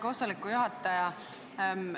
Hea koosoleku juhataja!